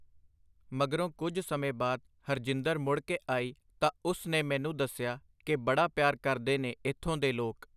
ਮਗਰੋਂ ਕੁਝ ਸਮੇਂ ਬਾਅਦ ਹਰਜਿੰਦਰ ਮੁੜ ਕੇ ਆਈ ਤਾਂ ਉਸ ਨੇ ਮੈਨੂੰ ਦੱਸਿਆ ਕਿ ਬੜਾ ਪਿਆਰ ਕਰਦੇ ਨੇ ਇੱਥੋਂ ਦੇ ਲੋਕ.